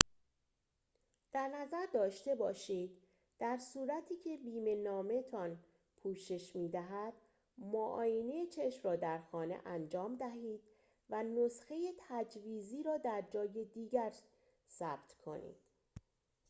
در نظر داشته باشید در صورتی که بیمه‌نامه‌تان پوشش می‌دهد معاینه چشم را در خانه انجام دهید و نسخه تجویزی را در جایی دیگر ثبت کنید